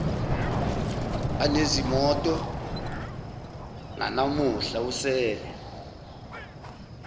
anezimoto nanamuhla usele